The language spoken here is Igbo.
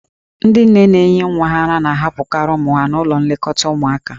Ndị nne na-enye nwa ara na-ahapụkarị ụmụ ha n'ụlọ nlekọta ụmụaka.